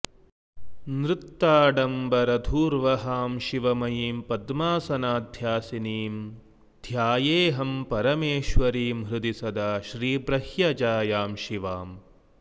नृत्ताडम्बरधूर्वहां शिवमयीं पद्मासनाध्यासिनीं ध्यायेऽहं परमेश्वरीं हृदि सदा श्रीब्रह्यजायां शिवाम्